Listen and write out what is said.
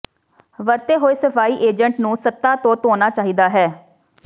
ਵਰਤੇ ਹੋਏ ਸਫਾਈ ਏਜੰਟ ਨੂੰ ਸਤ੍ਹਾ ਤੋਂ ਧੋਣਾ ਚਾਹੀਦਾ ਹੈ